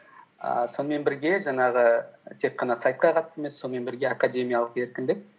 ііі сонымен бірге жаңағы тек қана сайтқа қатысты емес сонымен бірге академиялық еркіндік